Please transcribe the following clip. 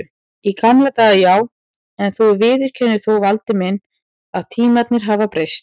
Í gamla daga já, en þú viðurkennir þó Valdi minn að tímarnir hafa breyst.